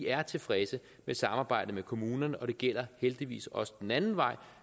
er tilfredse med samarbejdet med kommunerne og det gælder heldigvis også den anden vej